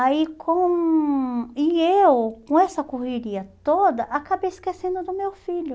Aí com... E eu, com essa correria toda, acabei esquecendo do meu filho.